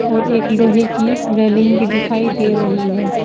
और एक लोहे की रेलिंग भी दिखाई दे रही है।